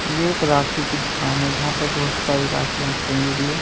ये एक राखी की दुकान है जहां पर बहुत सारी रखियाँ टंगी हुई है।